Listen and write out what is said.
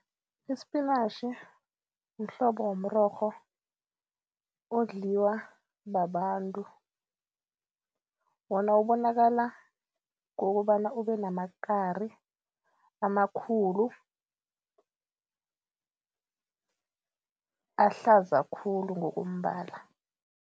Ispinatjhi mhlobo womrorho odliwa babantu. Wona ubonakala ngokobana ube namakari amakhulu, ahlaza khulu ngokombala.